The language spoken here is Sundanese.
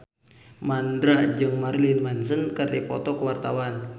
Mandra jeung Marilyn Manson keur dipoto ku wartawan